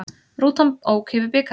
Rútan ók yfir bikarinn